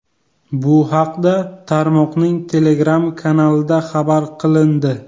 Bu haqda tarmoqning Telegram kanalida xabar qilindi .